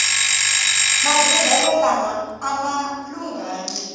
madurhelo lama ama lunghangi